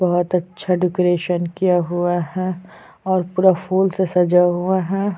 भोत अच्छा डेकोरेशन किया हुआ है और पूरा फूल से सजाया हुआ है।